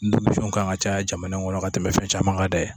Nfomisun kan ka caya jamana in kɔnɔ ka tɛmɛ fɛn caman kan dɛ